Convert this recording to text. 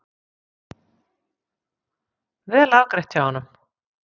Vel afgreitt hjá honum.